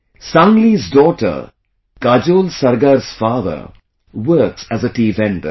Sangli's daughter Kajol Sargar's father works as a tea vendor